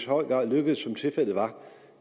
høj grad lykkedes som tilfældet var